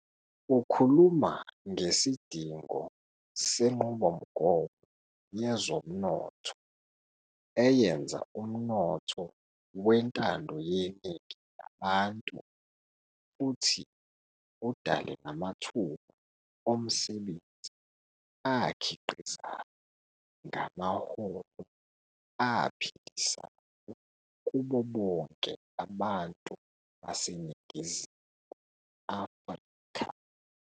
Ukhuluma ngesidingo senqubomgomo yezomnotho eyenza umnotho wentando yeningi labantu futhi udale namathuba omsebenzi akhiqizayo ngamaholo aphilisayo kubo bonke abantu baseNingizimu Afrika.